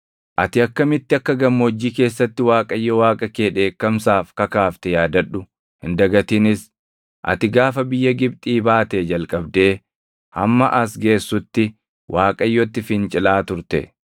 Ati akkamitti akka gammoojjii keessatti Waaqayyo Waaqa kee dheekkamsaaf kakaafte yaadadhu; hin dagatinis. Ati gaafa biyya Gibxii baatee jalqabdee hamma as geessutti Waaqayyotti fincilaa turte.